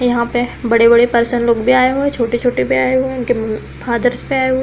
यहाँ पे बड़े-बड़े पर्सन लोग भी आये हुए हैंछोटे-छोटे भी आये हुए हैंउनके फादर्स भी आये हुए हैं।